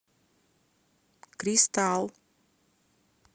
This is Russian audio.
кристал